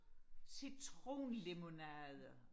citronlemonade